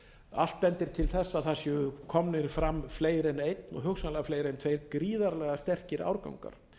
allt bendir til þess að það séu komnir fram fleiri en einn og hugsanlega fleiri en tveir gríðarlega sterkir árgangar